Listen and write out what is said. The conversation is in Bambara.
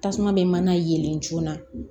Tasuma bɛ mana yɛlɛ joona